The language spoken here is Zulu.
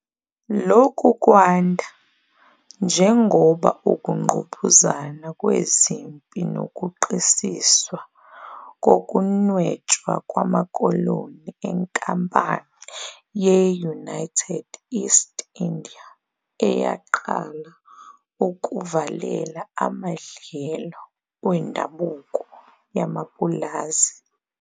Lokhu kwanda, njengoba ukungqubuzana kwezempi nokuqisiswa kokunwetshwa kwamakoloni eNkampani ye-United East India eyaqala ukuvalela amadlelo wendabuko yamapulazi.